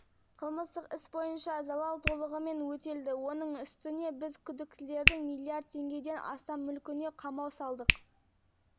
бұл мүлікті тәркілеу туралы мәселе сотта қаралады пара ретінде миллион теңге алынды ал алынған пара